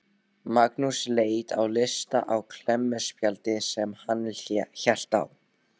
Magnús leit á lista á klemmuspjaldi sem hann hélt á.